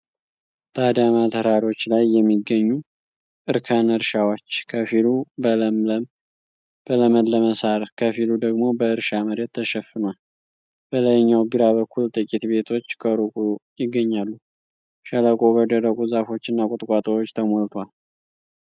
ባዳማ ተራሮች ላይ የሚገኙ እርከን እርሻዎች ከፊሉ በለመለመ ሣር ከፊሉ ደግሞ በእርሻ መሬት ተሸፍኗል። በላይኛው ግራ በኩል ጥቂት ቤቶች ከሩቅ ይገኛሉ፤ ሸለቆው በደረቁ ዛፎችና ቁጥቋጦዎች ተሞልቷል።